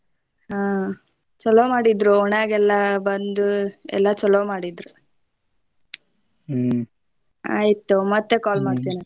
ಹಾ ಚೊಲೋ ಮಾಡಿದ್ರ ಓಣ್ಯಾಗೆಲ್ಲಾ ಬಂದು ಎಲ್ಲಾ ಚೊಲೋ ಮಾಡಿದ್ರ ಆಯ್ತ ತಗೋ ಮತ್ತೆ call ಮಾಡ್ತೆನ.